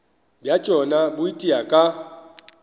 bja tšona bo itia ka